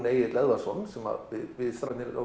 Egill Eðvarðsson sem við strákarnir á